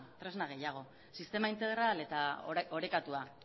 tresna gehiago sistema integrala eta orekatua